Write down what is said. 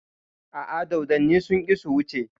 A'a, dodonni sun ƙi su wuce.